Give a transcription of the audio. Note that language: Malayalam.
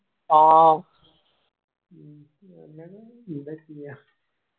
ആ